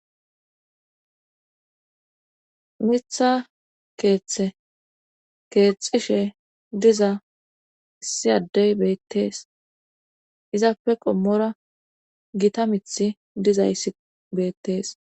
Mitha keethe keexxishe diza issi adey beettes;izape qommora githa mithi dizayssi beettes.